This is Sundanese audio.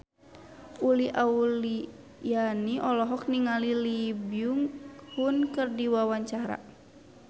Uli Auliani olohok ningali Lee Byung Hun keur diwawancara